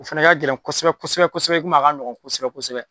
O fana ka gɛlɛn kosɛbɛ kosɛ bɛsɛbɛ i kom'a ka nɔgɔn kosɛbɛ kosɛbɛ.